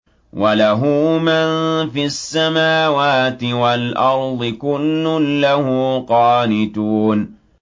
وَلَهُ مَن فِي السَّمَاوَاتِ وَالْأَرْضِ ۖ كُلٌّ لَّهُ قَانِتُونَ